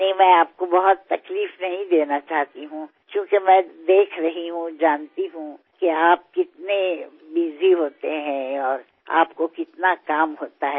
नहीं मैं आपको बहुत तकलीफ नहीं देना चाहती हूँ क्योंकि मैं देख रही हूँ जानती हूँ कि आप कितने बसी होते हैं और आपको कितना काम होता है